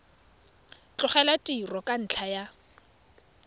tlogela tiro ka ntlha ya